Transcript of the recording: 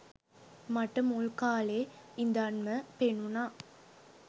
මට මුල් කාලෙ ඉඳන්ම පෙනුනා